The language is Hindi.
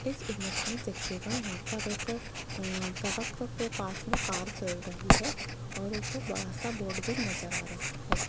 इस इमेज देखिएगा यहां पर एक अंअं सड़क के पास में कार चल रही है और ऊपर बड़ा सा बोर्ड भी नजर आ रहा है।